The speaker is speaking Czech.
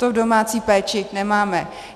To v domácí péči nemáme.